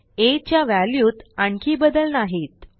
आ च्या व्हॅल्यूत आणखी बदल नाहीत